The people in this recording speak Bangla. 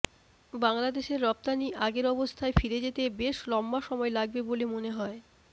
বাংলাদেশের রপ্তানি আগের অবস্থায় ফিরে যেতে বেশ লম্বা সময় লাগবে বলে মনে হয়